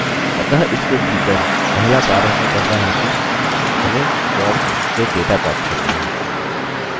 अतः इसके भीतर पहला कार्य हमें करना है कि हमें फॉर्म से डेटा प्राप्त करना है